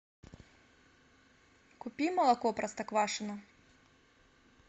купи молоко простоквашино